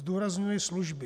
Zdůrazňuji služby.